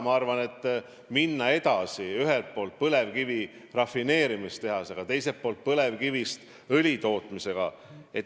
Ma arvan, et võiks minna edasi ühelt poolt põlevkivi rafineerimise tehasega, teiselt poolt põlevkivist õli tootmisega.